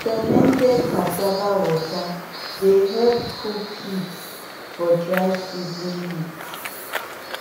fermented cassava water dey help cool pigs for dry season heat